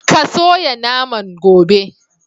Ka soya naman, gobe!.'